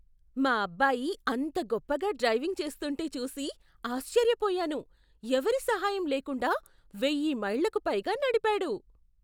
మా అబ్బాయి అంత గొప్పగా డ్రైవింగ్ చేస్తుంటే చూసి ఆశ్చర్యపోయాను! ఎవరి సహాయం లేకుండా వెయ్యి మైళ్ళకు పైగా నడిపాడు!